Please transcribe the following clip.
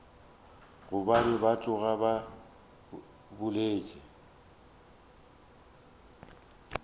gobane ba tloga ba boletše